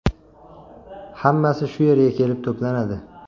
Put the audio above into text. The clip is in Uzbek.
Hammasi shu yerga kelib to‘planadi.